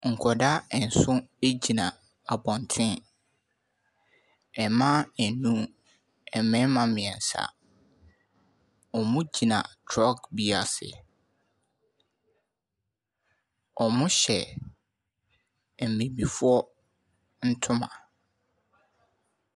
Nkwadaa nson egyina abɔnten. Mmaa num, mmarima mmiɛnsa. Wɔgyina trɔɔg bi ase. Wɔhyɛ mmibifoɔ ntoma.